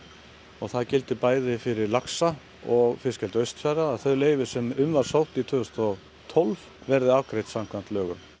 og það gildir bæði fyrir laxa og fiskeldi Austfjarða að þau leyfi sem um var sótt tvö þúsund og tólf verði afgreidd samkvæmt lögum